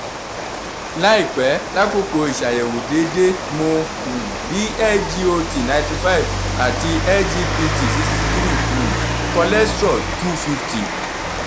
laipe lakoko iṣayẹwo deede mo um rii sgot ninety five & sgpt sixty three um cholesterol two fifty